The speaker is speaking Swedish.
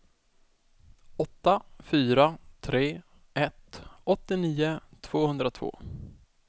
åtta fyra tre ett åttionio tvåhundratvå